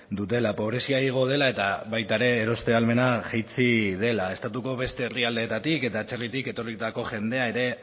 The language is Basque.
dutela pobrezia igo dela eta baita ere eroste ahalmena jaitsi dela estatuko beste herrialdeetatik eta atzerritik etorritako jendea ere